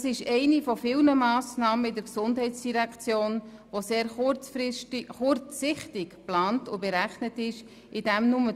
Dies ist eine von vielen sehr kurzsichtig geplanten und berechneten Massnahmen der GEF.